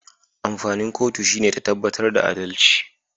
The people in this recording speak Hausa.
Amfanin kotu shine ta tabbatar da adalci